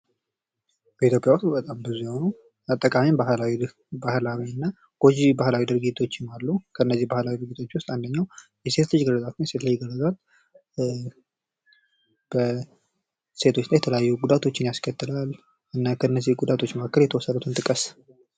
ኢትዮጵያ ውስጥ የተለያዩ ጎጅ ባህላዊ ድርጊቶች አሉ ።ከነዚህም መካከል አንዱ የሆነው የሴት ልጅ ግርዛት ሲሆን ይህ በሴቶች ላይ የተለያዩ ጉዳቶችን ያስከትላል ።እና ከነዚህ ጉዳቶች መካከል የተወሰኑትን ጥቅስ?